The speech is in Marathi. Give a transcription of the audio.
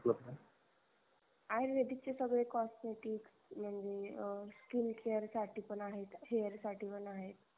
आयुर्वेदीकचे सगळे cosmetic म्हणजे अं sikn care साठी पण आहेत hair साठी पण आहेत